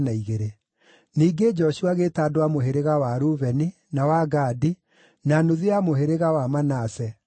Ningĩ Joshua agĩĩta andũ a Mũhĩrĩga wa Rubeni, na wa Gadi. na nuthu ya mũhĩrĩga wa Manase,